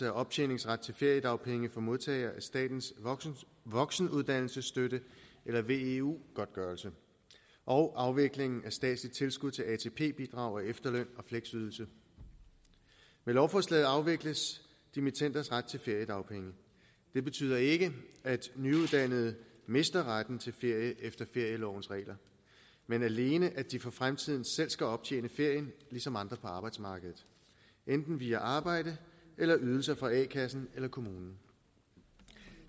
af optjeningsret til feriedagpenge for modtagere af statens voksenuddannelsesstøtte eller veu godtgørelse og afviklingen af statsligt tilskud til atp bidrag efterløn og fleksydelse med lovforslaget afvikles dimittenders ret til feriedagpenge det betyder ikke at nyuddannede mister retten til ferie efter ferielovens regler men alene at de for fremtiden selv skal optjene ferien ligesom andre på arbejdsmarkedet enten via arbejde eller ydelser fra a kassen eller kommunen